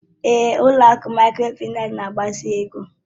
Ee, ụlọ akụ Mikrofaịnsi na-gbazinye ego